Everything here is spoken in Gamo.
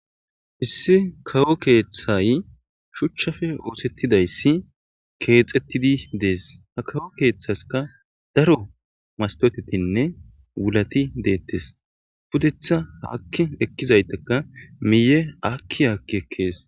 Issi kawo keththay shuchappe oththetidayisi kexxetidi dees ha kawo keththaska daro mastotetinne wulati dettes puddetha haaki eqqizayitika miye aaki aaki ekkes.